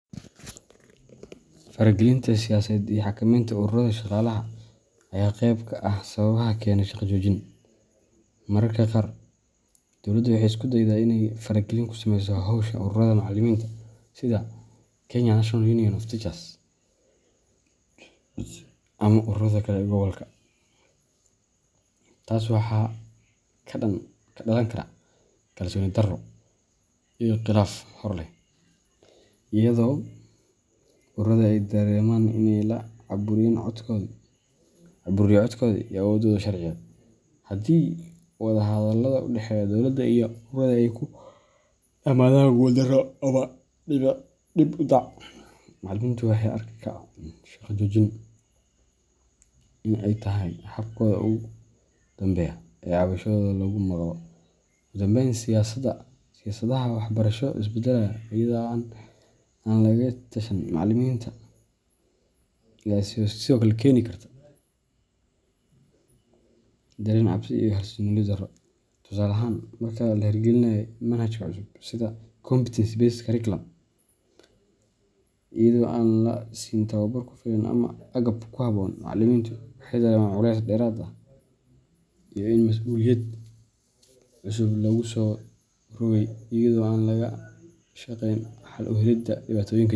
Faragelinta siyaasadeed iyo xakamaynta ururrada shaqaalaha ayaa qeyb ka ah sababaha keena shaqo joojin. Mararka qaar, dowladda waxay isku daydaa inay faragelin ku sameyso howsha ururrada macallimiinta, sida Kenya National Union of Teachers ama ururada kale ee gobolka. Taas waxaa ka dhalan kara kalsooni-darro iyo khilaaf hor leh, iyadoo ururadu ay dareemaan in la caburiyay codkoodii iyo awooddoodii sharciyeed. Haddii wada-hadallada u dhexeeya dowladda iyo ururrada ay ku dhammaadaan guuldarro ama dib-u-dhac, macallimiintu waxay arkaan shaqo-joojin in ay tahay habkooda ugu dambeeya ee cabashadooda lagu maqlo. Ugu dambeyn, siyaasadaha waxbarasho ee isbeddelaya iyada oo aan lagala tashan macallimiinta ayaa sidoo kale keeni kara dareen cabsi iyo xasillooni-darro. Tusaale ahaan, marka la hirgeliyo manhaj cusub sida Competency Based Curriculum iyada oo aan la siin tababar ku filan ama agab ku habboon, macallimiintu waxay dareemaan culays dheeraad ah iyo in mas'uuliyad cusub lagu soo rogay iyadoo aan laga shaqayn xal u helidda dhibaatooyinka jira.